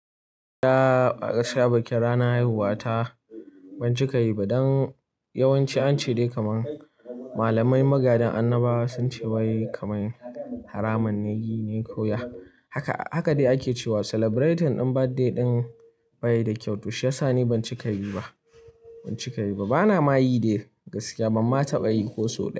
Ya gaskiya gaskiya bikin ranar haihuwata, ban cika yi ba. Don yawanci an ce dai kaman malamai magadan annaba sun ce wai kamar haramun ne yi ne ko ya haka. Haka dai ake cewa celebrating ɗin birthday ɗin ba yi da kyau to shiyasa ne ban cika yi ba, ban cika yi ba. Bana ma yi dai gaskiya, ban ma taɓa yi ko sau ɗaya.